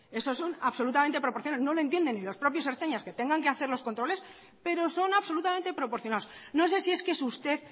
eso son absolutamente proporcionales no lo entienden ni los propios ertzainas que tengan que hacer los controles pero son absolutamente proporcionados no sé si es que es usted